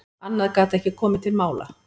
Annað gat ekki komið til mála.